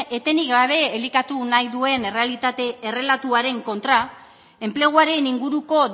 etenik gabe elikatu nahi duen errelatuaren kontra enpleguaren inguruko